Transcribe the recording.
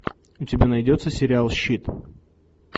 у тебя найдется сериал щит